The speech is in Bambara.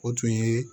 O tun ye